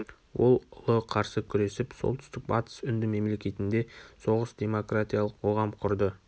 ол ұлы қарсы күресіп солтүстік-батыс үнді мемлекетінде соғыс демократиялық коғам құрды